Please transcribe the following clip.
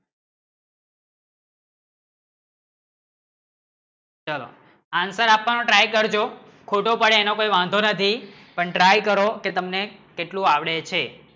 આંતર આપવાનો try કરજો ખોટો પડે એનો કોઈ વાંધો નથી પણ try કરો કે તમને કેટલું આવડે છે